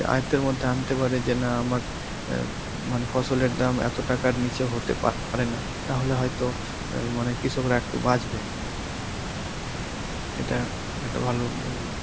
আয়তের মধ্যে আনতে পারে যে না আমার অ্যাঁ মানে ফসলের দাম এত টাকার নিচে হতে পারেনা তাহলে হয়তো অ্যাঁ মানে কৃষকরা একটু বাঁচবে. এটা একটা ভালো উদ্যোগ